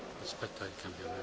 Herr Präsident,